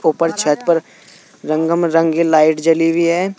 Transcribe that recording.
ऊपर छत पर रंगम रंगी लाइट जली हुई है।